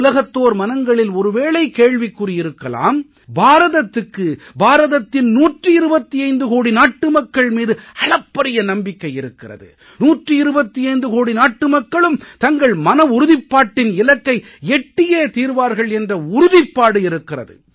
உலகத்தோர் மனங்களில் ஒரு வேளை கேள்விக்குறி இருக்கலாம் பாரதத்துக்கு பாரதத்தின் 125 கோடி நாட்டு மக்கள் மீது அளப்பரிய நம்பிக்கை இருக்கிறது 125 கோடி நாட்டு மக்களும் தங்கள் மனவுறுதிப்பாட்டின் இலக்கை எட்டியே தீர்வார்கள் என்ற உறுதிப்பாடு இருக்கிறது